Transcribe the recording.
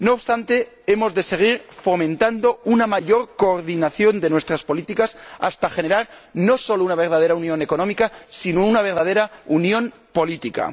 No obstante, hemos de seguir fomentando una mayor coordinación de nuestras políticas hasta generar no solo una verdadera unión económica, sino una verdadera unión política.